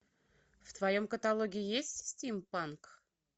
в твоем каталоге есть стим панк